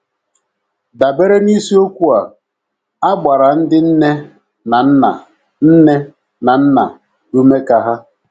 Dabere n’isiokwu a, a gbara ndị nne na nna nne na nna ume ka ha: